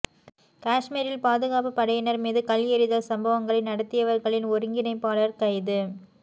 காஷ்மீரில் பாதுகாப்பு படையினர் மீது கல் ஏறிதல் சம்பவங்களை நடத்தியவர்களின் ஒருங்கிணைப்பாளர் கைது